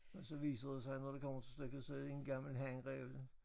Og så viser det sig når det kommer til stykket så er det en gammel hanræv